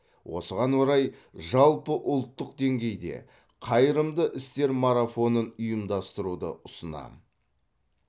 осыған орай жалпыұлттық деңгейде қайырымды істер марафонын ұйымдастыруды ұсынамын